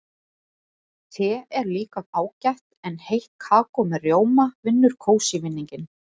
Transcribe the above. Te er líka ágætt en heitt kakó með rjóma vinnur kósí-vinninginn.